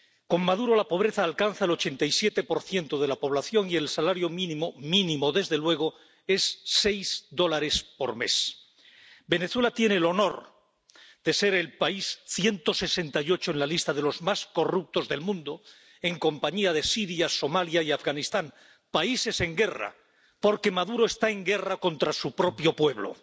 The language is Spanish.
Con Maduro, la pobreza alcanza al 87 de la población y el salario mínimo —mínimo, desde luego— es de seis dólares por mes. Venezuela tiene el honor de ser el país 168 en la lista de los más corruptos del mundo, en compañía de Siria, Somalia y Afganistán —países en guerra, porque Maduro está en guerra contra su propio pueblo—.